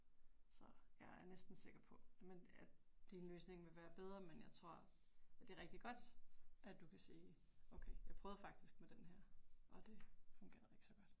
Så jeg er næsten sikker på men at din løsning vil være men jeg tror, det er rigtig godt at du kan sige okay, jeg prøvede faktisk med den her og det fungerede ikke så godt